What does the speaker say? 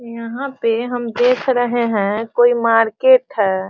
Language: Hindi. यहाँ पे हम देख रहे हैं कोई मार्केट है।